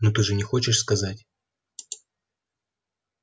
ну ты же не хочешь сказать